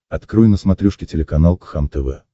открой на смотрешке телеканал кхлм тв